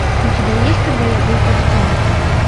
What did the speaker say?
у тебя есть когда я был певцом